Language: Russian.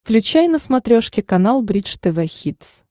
включай на смотрешке канал бридж тв хитс